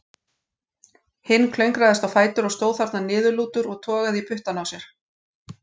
Hinn klöngraðist á fætur og stóð þarna niðurlútur og togaði í puttana á sér.